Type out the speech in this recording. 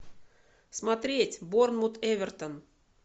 смотреть борнмут эвертон